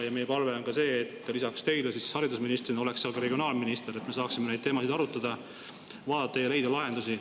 Meie palve on ka see, et lisaks teile haridusministrina oleks seal ka regionaalminister, et me saaksime neid teemasid arutada, vaadata ja leida lahendusi.